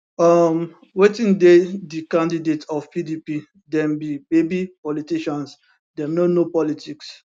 um wetin dey di candidate of pdp dem be baby politicians dem no know politics